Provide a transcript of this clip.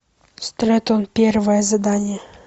стрэттон первое задание